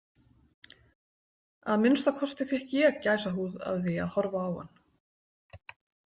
Að minnsta kosti fékk ég gæsahúð af því að horfa á hann.